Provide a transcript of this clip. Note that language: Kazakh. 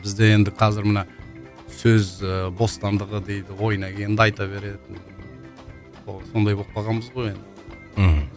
бізде енді қазір мына сөз ііі бостандығы дейді ойына келгенді айта береді сондай болып қалғанбыз ғой енді мхм